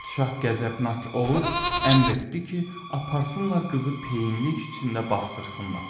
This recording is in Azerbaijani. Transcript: Padşah qəzəbnak olub, əmr etdi ki, aparsınlar qızı peyinlik içində basdırsınlar.